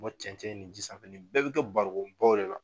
Bɔ cɛncɛn ni ji sanfɛ, nin bɛɛ be kɛ barikɔnbaw de la.